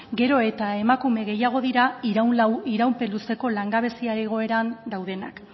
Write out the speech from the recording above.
gero eta emakume gehiago dira iraupen luzeko langabezia egoeran daudenak